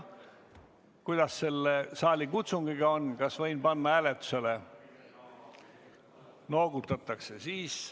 Kuidas selle saalikutsungiga on, kas võin panna eelnõu kohe hääletusele?